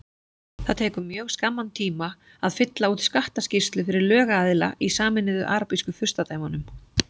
Það tekur mjög skamman tíma að fylla út skattaskýrslu fyrir lögaðila í Sameinuðu arabísku furstadæmunum.